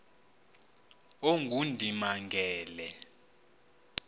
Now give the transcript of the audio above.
ongundimangele